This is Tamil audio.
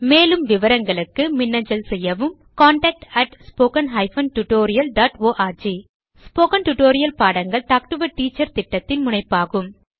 மேலும் விவரங்களுக்கு மின்னஞ்சல் செய்யவும் contactspoken tutorialorg ஸ்போகன் டுடோரியல் பாடங்கள் டாக் டு எ டீச்சர் திட்டத்தின் முனைப்பாகும்